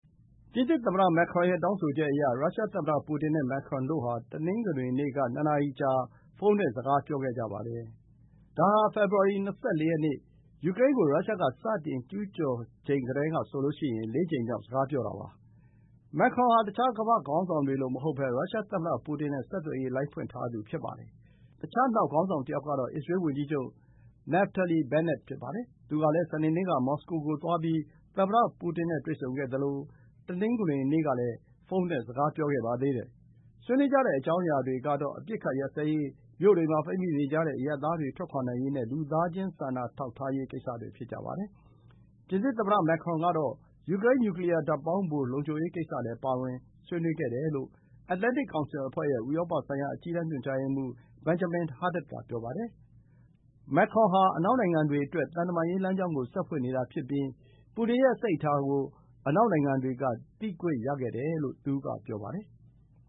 ပြင်သစ်သမ္မတ Macron ရဲ့ တောင်းဆိုချက်အရ ရုရှားသမ္မတပူတင်နဲ့ မက်ခရွန် တို့ဟာ တနင်္ဂနွေနေ့က ၂ နာရီ ကြာ ဖုန်းနဲ့ စကားပြောခဲ့ကြပါတယ်။ ဒါဟာ ဖေဖော်ဝါရီ ၂၄ ရက်နေ့ ယူကရိန်းကို ရုရှားက စတင်ကျူးကျော်ချိန်ကတည်းကဆိုရင် လေးကြိမ်မြောက် စကားပြောတာ ဖြစ်ပါတယ်။ မက်ခရွန်ဟာ တခြားကမ္ဘာ့ခေါင်းဆောင်တွေလိုမဟုတ်ဘဲ ရုရှားသမ္မတပူတင်နဲ့ ဆက်သွယ်ရေးလိုင်းဖွင့်ထားသူ ဖြစ်ပါတယ်။ တခြား နောက် ခေါင်းဆောင်တယောက်ကတော့ အစ္စရေးဝန်ကြီးချုပ် Naftali Bennett ဖြစ်ပါတယ်။ သူကလည်း စနေနေ့က မော်စကို-ကိုသွားပြီး သမ္မတပူတင်နဲ့ တွေ့ဆုံခဲ့သလို တနင်္ဂနွေနေ့ က လည်း ဖုန်းနဲ့ စကားပြောခဲ့ပါသေးတယ်။ ဆွေးနွေးကြတဲ့အကြောင်းအရာတွေကတော့ အပစ်အခတ်ရပ်စဲရေး၊ မြို့တွေမှာ ပိတ်မိနေကြတဲ့ အရပ်သားတွေ ထွက်ခွါနိုင်ရေးနဲ့ လူသားချင်း စာနာထောက်ထားရေး ကိစ္စတွေ ဖြစ်ကြပါတယ်။ ပြင်သစ်သမ္မတမက်ခရွန်ကတော့ ယူကရိန်း နျူကလီယားဓာတ်ပေါင်းဖို လုံခြုံရေးကိစ္စလည်း ပါဝင်တယ်လို့ Atlantic Council အဖွဲ့ရဲ့ ဥရောပဆိုင်ရာ အကြီးတန်းညွှန်ကြားရေးမှူး Benjamin Haddad က ပြောပါတယ်။ မက်ခရွန်ဟာ အနောက်နိုင်ငံတွေအတွက် သံတမန်ရေးလမ်းကြောင်းကို ဆက်ဖွင့်နေတာ ဖြစ်ပြီး ပူတင်ရဲ့စိတ်အထာကို အနောက်နိုင်ငံတွေက သိခွင့်ရခဲ့တယ်လို့ သူက ဆိုပါတယ်။